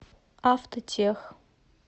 автотех